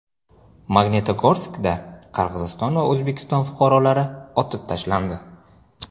Magnitogorskda Qirg‘iziston va O‘zbekiston fuqarolari otib tashlandi.